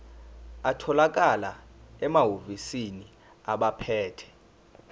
atholakala emahhovisi abaphethe